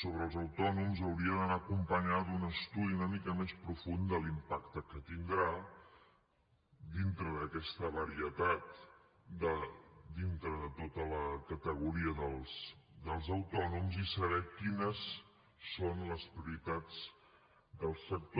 sobre els autònoms hauria d’anar acompanyada d’un estudi una mica més profund de l’impacte que tindrà dintre d’aquesta varietat dintre de tota la categoria dels autònoms i saber quines són les prioritats del sector